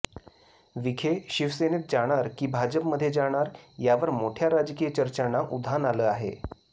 विखे शिवसेनेत जाणार की भाजपमध्ये जाणार यावर मोठ्या राजकीय चर्चांणा उधान आलं आहे